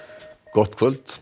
gott kvöld